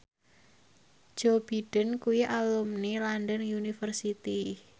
Joe Biden kuwi alumni London University